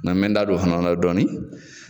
Na n bɛ n da don o fana na dɔɔni.